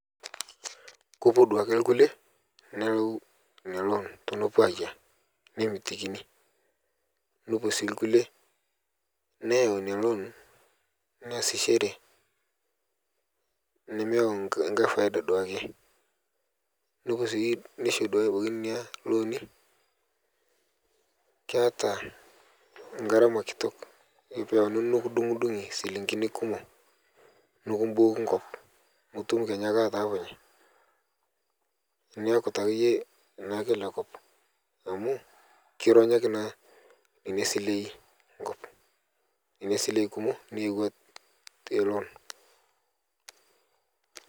Kopuo duake nkule nelau nia loon tenepuo ayia nemitikini nepuo sii kule neyau nia loon neasichere nemeyau nkae paida duake neisho sii duake nena loon keata ngarama kitok kore peyauini nodungdungi silingini kumo nikimboki nkop mutum kenyaake atapunye niaku taake yie lekop amu kironyoki nenia silei nkop nenia silen kumo nneyeua teloon.